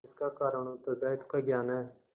इसका कारण उत्तरदायित्व का ज्ञान है